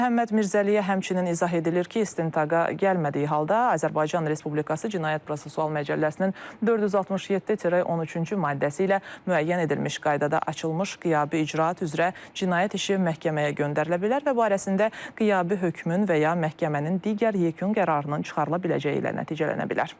Məhəmməd Mirzəliyə həmçinin izah edilir ki, istintaqa gəlmədiyi halda Azərbaycan Respublikası Cinayət Prosessual Məcəlləsinin 467-13-cü maddəsi ilə müəyyən edilmiş qaydada açılmış qiyabi icraat üzrə cinayət işi məhkəməyə göndərilə bilər və barəsində qiyabi hökmün və ya məhkəmənin digər yekun qərarının çıxarıla biləcəyi ilə nəticələnə bilər.